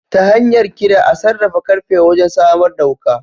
Ta hanyar Kira a sarrafa karfe wajen samar da wuka.